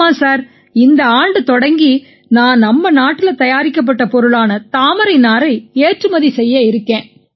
ஆமாம் சார் இந்த ஆண்டு தொடங்கி நான் நம்ம நாட்டுல தயாரிக்கப்பட்ட பொருளான தாமரை நாரை ஏற்றுமதி செய்ய இருக்கேன்